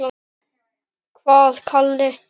Hvaða Kalli?